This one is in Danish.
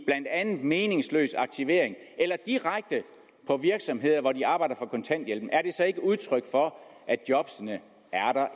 meningsløs aktivering eller direkte på virksomheder hvor de arbejder for kontanthjælpen er det så ikke udtryk for at jobbene